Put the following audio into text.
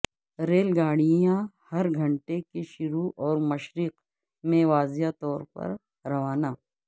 rail گاڑیاں ہر گھنٹے کے شروع اور مشرق میں واضح طور پر روانہ